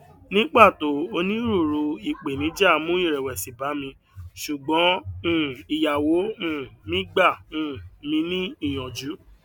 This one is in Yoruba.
ní pàtó onírúurú ìpèníjà mú ìrèwèsì bá mi sùgbón um ìyàwó um mí gbá um mí ní ìyànjú